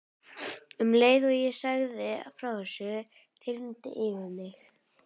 Um leið og ég sagði frá þessu þyrmdi yfir mig.